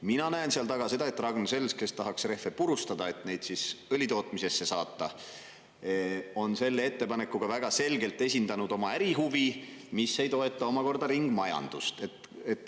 Mina näen seal taga seda, et Ragn-Sells, kes tahaks rehve purustada, et neid siis õlitootmisesse saata, on selle ettepanekuga väga selgelt esindanud oma ärihuvi, mis ei toeta omakorda ringmajandust.